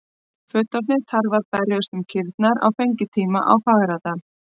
Fullorðnir tarfar berjast um kýrnar á fengitíma á Fagradal.